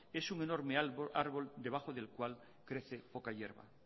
es un enorme árbol debajo del cual crece poca hierba